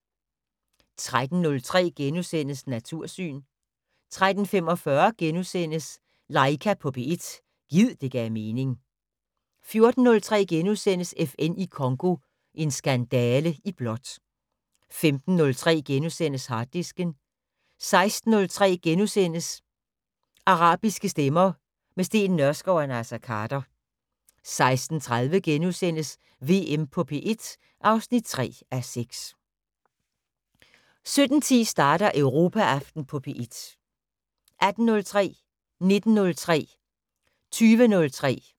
13:03: Natursyn * 13:45: Laika på P1 - gid det gav mening * 14:03: FN i Congo - en skandale i blåt * 15:03: Harddisken * 16:03: Arabiske stemmer - med Steen Nørskov og Naser Khader * 16:30: VM på P1 (3:6)* 17:10: Europaaften på P1 18:03: Europaaften på P1, fortsat 19:03: Europaaften på P1, fortsat 20:03: Europaaften på P1, fortsat